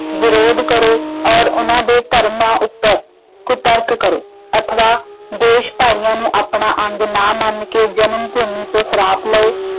ਵਿਰੋਧ ਕਰੋ ਅਤੇ ਉਹਨਾਂ ਦੇ ਧਰਮਾਂ ਉੱਪਰ ਕੁਤਰਕ ਕਰੋ ਅਥਵਾ ਦੇਸ਼ ਭਾਈਆਂ ਨੂੰ ਆਪਣਾ ਅੰਗ ਨਾ ਮੰਨ ਕੇ ਜਨਮ-ਭੂਮੀ ਤੋਂ ਸਰਾਪ ਲਉ।